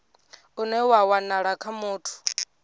une wa wanala kha muthu